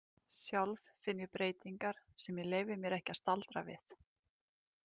Sjálf finn ég breytingar sem ég leyfi mér ekki að staldra við.